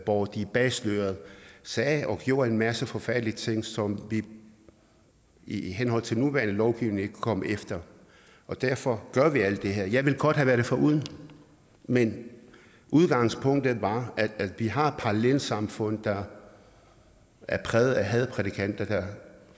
hvor de bag sløret sagde og gjorde en masse forfærdelige ting som vi i henhold til nuværende lovgivning ikke kunne komme efter derfor gør vi alt det her jeg ville godt have været det foruden men udgangspunktet var at vi har et parallelsamfund der er præget af hadprædikanter der